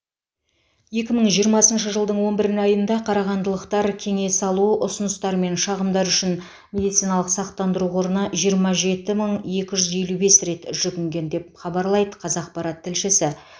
екі мың жиырмасыншы жылдың он бірін айында қарағандылықтар кеңес алу ұсыныстар мен шағымдар үшін медициналық сақтандыру қорына жиырма жеті мың екі жүз елу бес рет жүгінген деп хабарлайды қазақпарат тілшісі